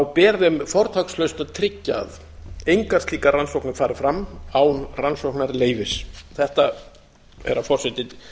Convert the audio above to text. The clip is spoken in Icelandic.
ber þeim fortakslaust að tryggja að engar slíkar rannsóknir fari fram án rannsóknarleyfis þetta herra forseti tel